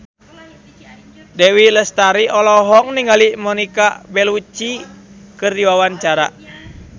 Dewi Lestari olohok ningali Monica Belluci keur diwawancara